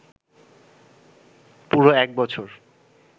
পুরো এক বছর